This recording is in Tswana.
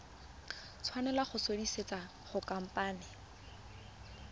tshwanela go sutisediwa go khamphane